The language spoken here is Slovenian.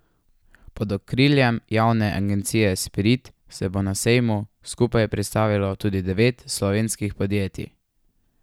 Pod okriljem javne agencije Spirit se bo na sejmu skupaj predstavilo tudi devet slovenskih podjetij.